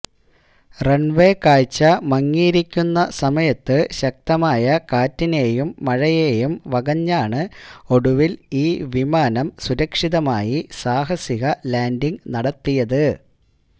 runway കാഴ്ച മങ്ങിയിരിക്കുന്ന സമയത്ത് ശക്തമായ കാറ്റിനെയും മഴയേയും വകഞ്ഞാണ് ഒടുവിൽ ഈ വിമാനം സുരക്ഷിതമായി സാഹസിക ലാൻഡിങ് നടത്തിയത്